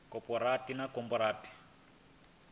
wa khophorethivi a nga fha